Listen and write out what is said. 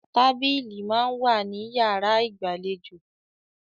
Tábílì máa ń wà ní yàrá ìgbàlejò